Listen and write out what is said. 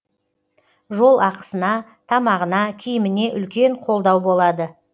жол ақысына тамағына киіміне үлкен қолдау болады